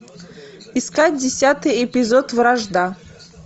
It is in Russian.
искать десятый эпизод вражда